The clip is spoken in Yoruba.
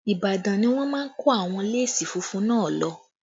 Ibadan ni wọ́n máa kó àwọn léèsì funfun náà lọ